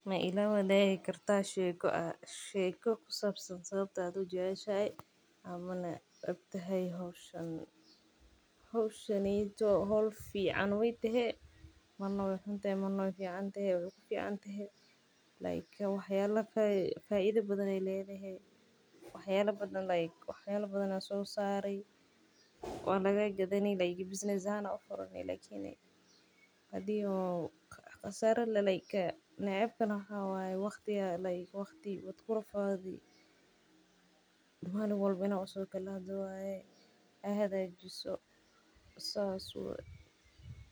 Ma ila waadigi kartaa sheeka ku sabsan sababta aad ujeceshahay ama unecbahay howshan faida badan ayeey ledahay wax yaaba badan ayaa lagaa gadani waqti waad ku rafaadi.